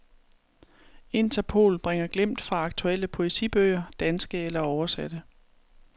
InterPOL bringer glimt fra aktuelle poesibøger, danske eller oversatte.